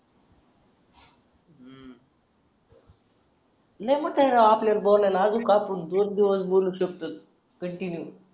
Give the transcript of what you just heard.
लय मोठय राव आपल्याला बोलायला अजून आपण दोन दिवस बोलू शकतो कंटिन्यू